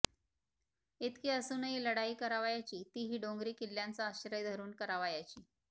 इतकें असून लढाई करावयाची तीही डोंगिरी किल्ल्यांचा आश्रय धरून करावयाची